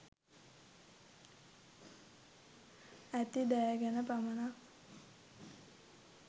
ඇති දෑ ගැන පමණයි.